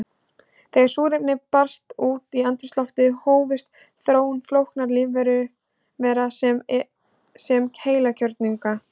Þegar súrefni barst út í andrúmsloftið hófst þróun flóknara lífvera, svo sem heilkjörnunga.